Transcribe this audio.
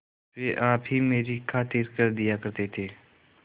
वे आप ही मेरी खातिर कर दिया करते थे